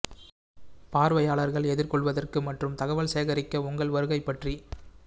பார்வையாளர்கள் எதிர்கொள்வதற்கு மற்றும் தகவல் சேகரிக்க உங்கள் வருகை பற்றி